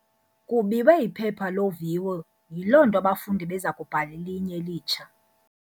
Kubiwe iphepha loviwo yiloo nto abafundi beza kubhala elinye elitsha.